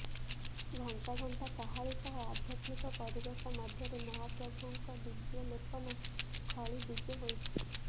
ଘଣ୍ଟ ଘଣ୍ଟା କାହାଳୀ ସହ ଆଧ୍ୟାତ୍ମିକ ପରିବେଶ ମଧ୍ୟରେ ମହାପ୍ରଭୁଙ୍କ ଦିବ୍ୟଲେପନ ଖଳି ବିଜେ ହୋଇଛି